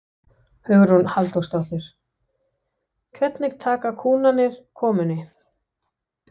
Hugrún Halldórsdóttir: Hvernig taka kúnnarnir komunni?